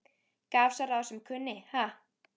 Gaf sá ráð sem kunni, ha!